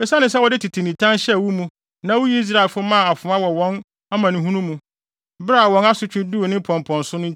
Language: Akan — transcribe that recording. “ ‘Esiane sɛ wode tete nitan hyɛɛ wo mu na wuyii Israelfo maa afoa wɔ wɔn amanehunu mu, bere a wɔn asotwe duu ne mpɔmpɔnso no